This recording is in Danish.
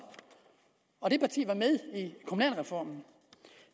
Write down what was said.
og det parti var med i kommunalreformen